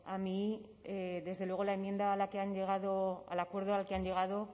a mí desde luego la enmienda a la que han llegado al acuerdo al que han llegado